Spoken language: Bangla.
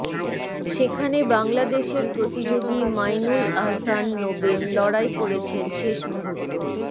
সেখানে বাংলাদেশের প্রতিযোগী মাঈনুল আহসান নোবেল লড়াই করেছেন শেষ মুহূর্ত